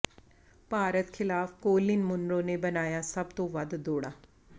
ਭਾਰਤ ਖਿਲਾਫ Colin Munro ਨੇ ਬਣਾਈਆ ਸਭ ਤੋਂ ਵੱਧ ਦੌੜਾਂ